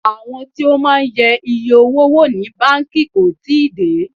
Àwọn tí ó máa ń yẹ iye owó wò ní báńkì kò tíì dé.